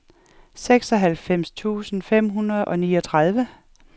seksoghalvfems tusind fem hundrede og niogtredive